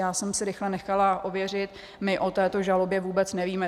Já jsem si rychle nechala ověřit, my o této žalobě vůbec nevíme.